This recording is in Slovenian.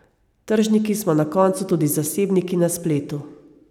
Tržniki smo na koncu tudi zasebniki na spletu.